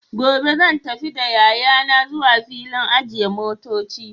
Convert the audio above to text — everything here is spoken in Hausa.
gobe zan tafi da yayana zuwa filin ajiye motoci.